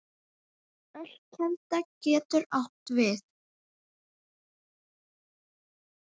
Ölkelda getur átt við